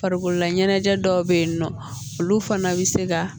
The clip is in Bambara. Farikololaɲɛnajɛ dɔw bɛ yen nɔ olu fana bɛ se ka